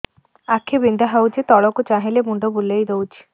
ଆଖି ବିନ୍ଧା ହଉଚି ତଳକୁ ଚାହିଁଲେ ମୁଣ୍ଡ ବୁଲେଇ ଦଉଛି